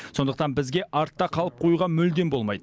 сондықтан бізге артта қалып қоюға мүлде болмайды